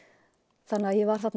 þannig að ég var þarna